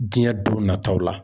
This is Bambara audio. Diɲɛ don nataw la.